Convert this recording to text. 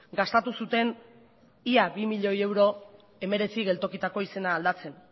gastatu zuten ia bi miloi euro hemeretzi geltokitako izena aldatzen